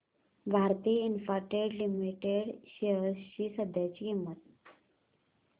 Bharti Infratel limited shares ची सध्याची किंमत